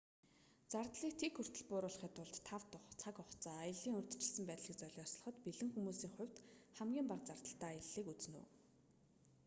зардлыг тэг хүртэл бууруулахын тулд тав тух цаг хугацаа аяллын урьдчилсан байдлыг золиослоход бэлэн хүмүүсийн хувьд хамгийн бага зардалтай аяллыг үзнэ үү